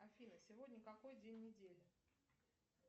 афина сегодня какой день недели